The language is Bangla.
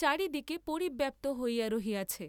চারিদিকে পরিব্যাপ্ত হইয়া রহিয়াছে।